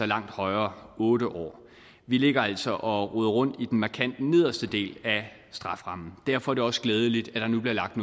langt højere otte år vi ligger altså og roder rundt i den markant nederste del af strafferammen derfor er det også glædeligt at der nu bliver lagt